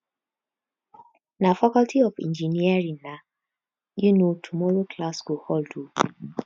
na faculty of engineering nai um tomorrow class go hold o